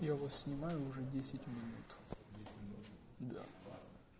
я вас снимаю уже десять минут